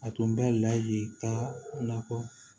A tun bɛ ladi ka na fɔ